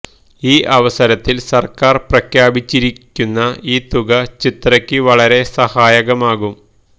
ഈ അവസരത്തിൽ സർക്കാർ പ്രഖ്യാപിച്ചിരിക്കുന്ന ഈ തുക ചിത്രയ്ക്ക് വളരെ സഹായകമാകും